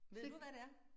Ved du hvad det er?